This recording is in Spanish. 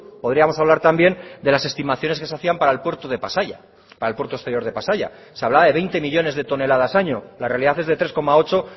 podríamos hablar también de las estimaciones que se hacían para el puerto de pasaia para el puerto exterior de pasaia se hablaba de veinte millónes de toneladas año la realidad es de tres coma ocho